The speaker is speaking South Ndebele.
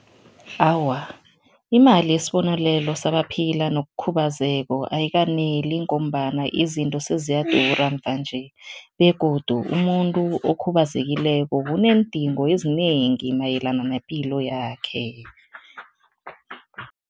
Awa, imali yesibonelelo sabaphila nokukhubazeka ayikaneli ngombana izinto seziyadura mvanje begodu umuntu okhubazekileko uneendingo ezinengi mayelana nepilo yakhe.